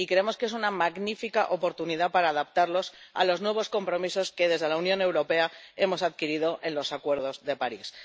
Y creemos que es una magnífica oportunidad para adaptarlos a los nuevos compromisos que como Unión Europea hemos adquirido a través del Acuerdo de París.